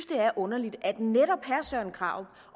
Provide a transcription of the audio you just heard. det er underligt at netop søren krarup